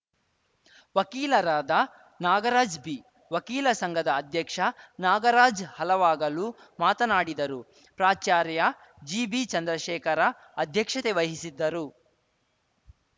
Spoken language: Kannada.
ವಕೀಲರಾದ ನಾಗರಾಜ್‌ ಬಿ ವಕೀಲ ಸಂಘದ ಅಧ್ಯಕ್ಷ ನಾಗರಾಜ್‌ ಹಲವಾಗಲು ಮಾತನಾಡಿದರುಪ್ರಾಚಾರ್ಯ ಜಿಬಿ ಚಂದ್ರಶೇಖರ ಅಧ್ಯಕ್ಷತೆ ವಹಿಸಿದ್ದರು